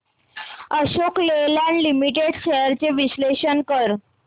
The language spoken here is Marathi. अशोक लेलँड लिमिटेड शेअर्स चे विश्लेषण कर